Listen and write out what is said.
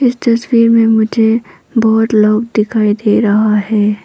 इस तस्वीर में मुझे बहुत लोग दिखाई दे रहा है।